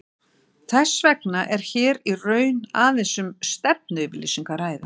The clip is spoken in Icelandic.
Þess vegna er hér í raun aðeins um stefnuyfirlýsingu að ræða.